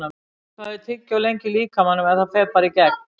Hvað er tyggjó lengi í líkamanum eða fer það bara í gegn?